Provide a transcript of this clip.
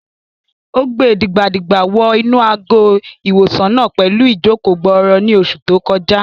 Ó gbe dìgbà-dìgbà wọ inú àgọ́-ìwòsàn náà pẹ̀lú ìjòkó-gbọọrọ ní oṣù tó kọjá